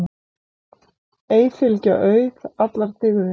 Ei fylgja auð allar dygðir.